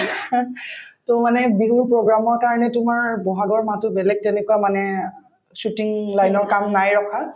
to মানে বিহুৰ program ৰ কাৰণে তোমাৰ বহাগৰ মাহতো বেলেগ তেনেকুৱা মানে shooting line ৰ কাম নাই ৰখা